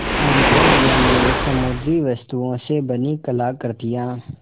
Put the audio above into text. emporium में समुद्री वस्तुओं से बनी कलाकृतियाँ